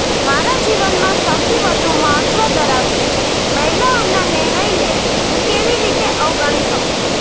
મારા જીવનમાં સૌથી વધુ મહત્વ ધરાવતી મહિલાઓના નિર્ણયને હું કેવી રીતે અવગણી શકું